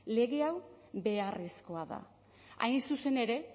lege hau beharrezkoa da hain zuzen ere